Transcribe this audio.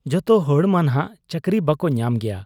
ᱡᱚᱛᱚᱦᱚᱲ ᱢᱟᱱᱷᱟᱜ ᱪᱟᱹᱠᱨᱤ ᱵᱟᱠᱚ ᱧᱟᱢ ᱜᱮᱭᱟ ᱾